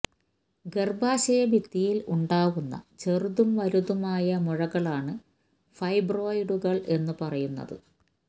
ഗർഭാശയ ഭിത്തിയിൽ ഉണ്ടാവുന്ന ചെറുതും വലുതുമായ മുഴകളാണ് ഫൈബ്രോയ്ഡുകൾ എന്ന് പറയുന്നത്